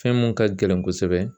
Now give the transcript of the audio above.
Fɛn mun ka gɛlɛn kosɛbɛ